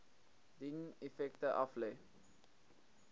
dien effekte aflê